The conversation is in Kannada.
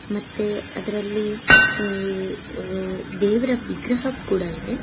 ಮತ್ತೆ ಅದ್ರಲ್ಲಿ ಎ ಅ ದೇವರ ವಿಗ್ರಹ ಕೂಡ ಇದೆ.